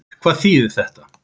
Hvað þýðir þetta?